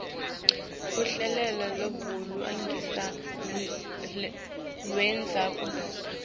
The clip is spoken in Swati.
luhlelo lwebulungisa lwendzabuko